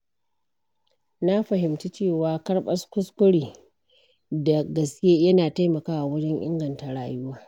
Na fahimci cewa karɓar kuskure da gaske yana taimakawa wajen inganta rayuwa.